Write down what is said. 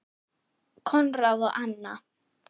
Konráð og Anna.